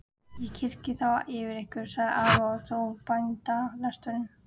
Ég kyrja þá yfir ykkur, sagði afi og hóf bænalesturinn.